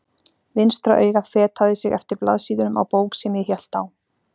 Vinstra augað fetaði sig eftir blaðsíðunum á bók sem ég hélt á.